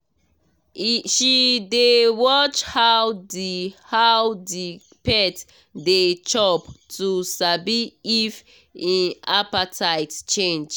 she dey watch how the how the pet dey chop to sabi if e appetite change